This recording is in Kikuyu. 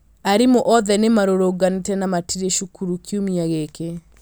Arimũ othe nĩ marũrũnganite na matirĩ cukuru kiumia gĩkĩ.